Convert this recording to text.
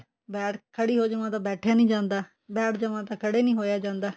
ਖੜੀ ਹੋ ਜਾਵਾਂ ਤੇ ਬੈਠਿਆ ਨੀ ਜਾਂਦਾ ਬੈਠ ਜਾਵਾਂ ਤਾਂ ਖੜਾ ਨੀ ਹੋਇਆ ਜਾਂਦਾ